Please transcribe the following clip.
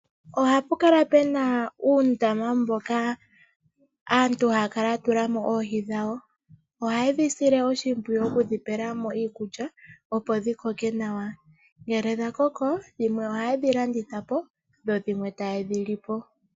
Ohapu kala pena uundama mboka aantu haya kala ya tula mo oohi dhawo. Ohaye dhi sile oshimpwiyu oku dhi pela mo iikulya opo dhi koke nawa. Ngele dha koko dhimwe ohaye dhi landitha po dho dhimwe taye dhi li po.